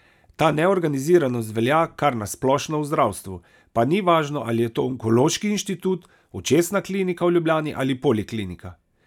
Ta neorganiziranost velja kar na splošno v zdravstvu, pa ni važno, ali je to Onkološki inštitut, Očesna klinika v Ljubljani ali Poliklinika.